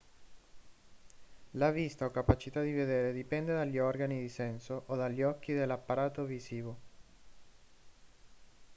la vista o capacità di vedere dipende dagli organi di senso o dagli occhi dell'apparato visivo